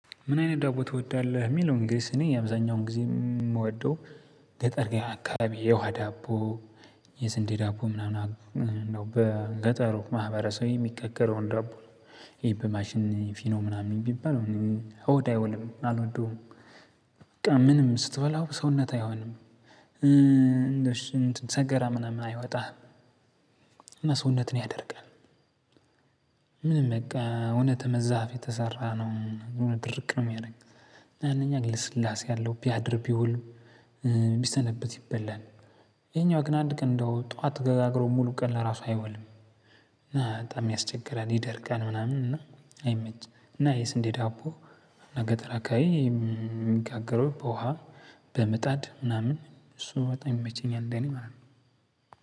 ምን አይነት ዳቦ ትወዳለህ? የሚለውን ግንስ እኔ የአብዛኛውን ጊዜ የምወደው ገጠር አካባቢ የውሃ ዳቦ፣ የስንዴ ዳቦ ምናምን ነው። በገጠሩ ማህበረሰቡ የሚጋገረውን ዳቦ ነው ይሄ በማሽን ፉርኖ ምናምን ቢባል ሆድ አይሆንም አልወደውም። በቃ ምንም ስትበላው ሰውነት አይሆንም። እንደ ሰገረ ምናምን አይወጣም፣ ሰውነትን ያደርቃል። ምንም በቃ እውነት ከዛፍ የተሰራ ድርቅ የሚያደርገው። ይሀኛው ልስላሴ አለው ቢያድር፣ ቢውል፣ ቢሰነበት ይበላል። ይሄኛው ግን አንድ ቀን እንደው ጠዋት ገጋግሮ ሙሉ ቀን ለራሱ አይወልም እና በጣም ያስቸግራል፣ ይደርቃል፣ ምናምን እና አይመችም እና የስንዴ ዳቦ ገጠራ አካባቢ የሚጋገረው በውሃ፣ በምጣድ ምናምን እሱ በጣም ይመቸኛል ለእኔ ማለት ነው።